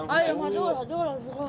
Hədəl, hədəl, hədəl, hədəl.